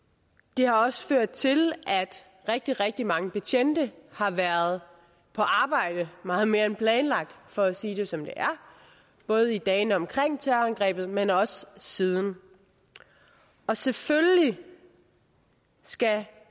det har også ført til at rigtig rigtig mange betjente har været på arbejde meget mere end planlagt for at sige det som det er både i dagene omkring terrorangrebet men også siden og selvfølgelig skal